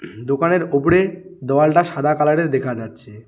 দোকানের ওপরে দেওয়ালটা সাদা কালারের দেখা যাচ্ছে।